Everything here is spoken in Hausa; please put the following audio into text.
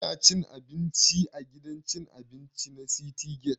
Ina cin abinci a gidan cin abinci na citygate